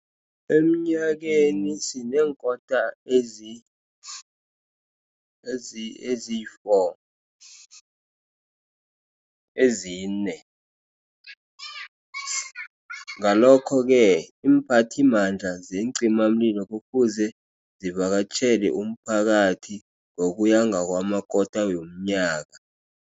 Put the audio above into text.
Emnyakeni sinenkota ezine, eziyi-four ezine. Ngalokho-ke iimphathimandla zeencimamlilo, kufuze zivakatjhele umphakathi ngokuya ngamakota womnyaka.